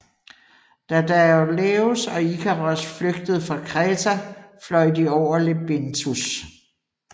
Da Daedalus og Ikaros flygtede fra Kreta fløj de over Lebinthus